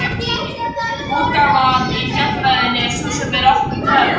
Útgáfan í Fjallræðunni er sú sem er okkur töm.